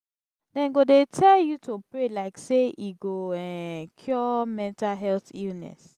dem go dey tell you to pray like sey e go um cure mental health illness.